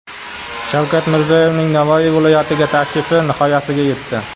Shavkat Mirziyoyevning Navoiy viloyatiga tashrifi nihoyasiga yetdi.